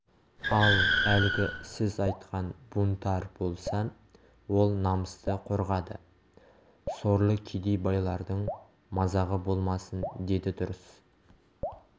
ал әлгі сіз айтқан бунтарь болса ол намысты қорғады сорлы кедей байлардың мазағы болмасын деді дұрыс